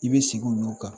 I bɛ sigi olu kan